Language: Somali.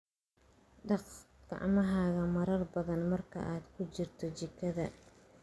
Dhaq gacmahaaga marar badan marka aad ku jirto jikada.